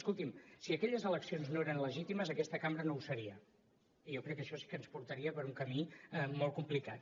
escolti’m si aquelles eleccions no eren legítimes aquesta cambra no ho seria i jo crec que això sí que ens portaria per un camí molt complicat